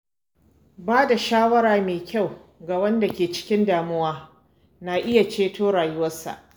Ba da shawara mai kyau ga wanda ke cikin damuwa na iya ceton rayuwarsa.